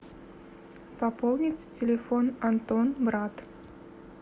пополнить телефон антон брат